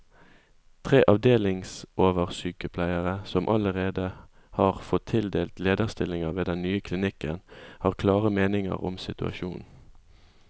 Tre avdelingsoversykepleiere, som allerede har fått tildelt lederstillinger ved den nye klinikken, har klare meninger om situasjonen.